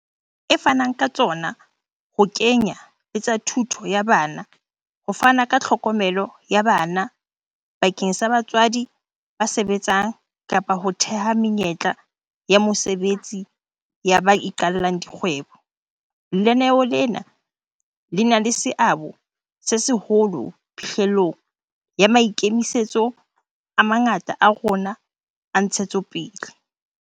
E fanang ka tsona, ho kenye letsa thuto ya bana, ho fana ka tlhokomelo ya bana bakeng sa batswadi ba sebetsang kapa ho theha menyetla ya mosebetsi ya ba iqallang di kgwebo, lenaneo lena le na le seabo se seholo phihlellong ya maikemisetso a mangata a rona a ntshetsopele.